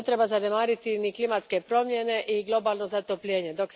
Ne treba zanemariti ni klimatske promjene i globalno zatopljenje.